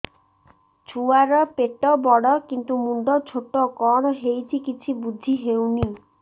ଛୁଆର ପେଟବଡ଼ କିନ୍ତୁ ମୁଣ୍ଡ ଛୋଟ କଣ ହଉଚି କିଛି ଵୁଝିହୋଉନି